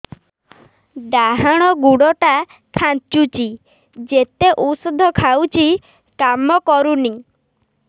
ଡାହାଣ ଗୁଡ଼ ଟା ଖାନ୍ଚୁଚି ଯେତେ ଉଷ୍ଧ ଖାଉଛି କାମ କରୁନି